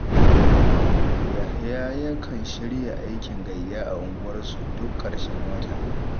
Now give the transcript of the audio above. Yahya yakan shirya aikin gayya a unguwarsu duk ƙarshen wata.